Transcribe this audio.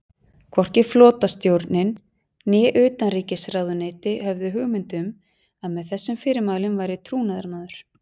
Hvorki flotastjórnin né utanríkisráðuneytið höfðu hugmynd um, að með þessum fyrirmælum væri trúnaðarmaður